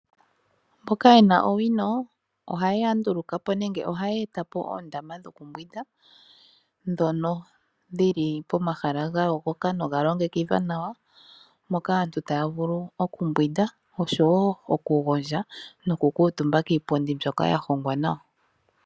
Mboka yena owino ohaya nduuluka po nenge ohaya etapo oondama dhokumbwinda, dhono dhili pomahala gayogoka nogalongekidhwa nawa, moka aantu taa vulu okumbwinda nosho woo okugondja, noku kuutumba kiipundi mbyoka ya hongwa nawa.